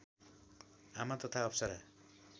आमा तथा अप्सरा